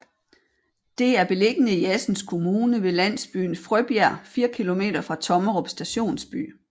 Det er beliggende i Assens Kommune ved landsbyen Frøbjerg 4 kilometer fra Tommerup Stationsby